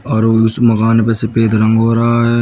और उस मकान पे सफेद रंग हो रहा है।